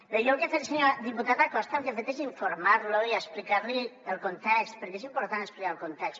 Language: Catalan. bé diputat acosta jo el que he fet és informar lo i explicar li el context perquè és important explicar el context